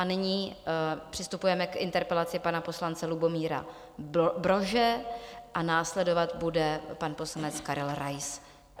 A nyní přistupujeme k interpelaci pana poslance Lubomíra Brože a následovat bude pan poslanec Karel Rais.